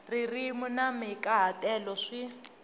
ririmi na mahikaha telo swi